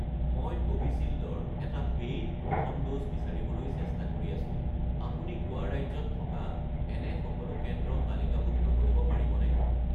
মই কোভিচিল্ড ৰ এটা পে'ইড প্ৰথম ড'জ বিচাৰিবলৈ চেষ্টা কৰি আছোঁ, আপুনি গোৱা ৰাজ্যত থকা এনে সকলো কেন্দ্ৰ তালিকাভুক্ত কৰিব পাৰিবনে?